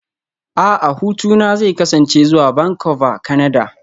A'a hutuna zai kasance zuwa Vancouver, Kanada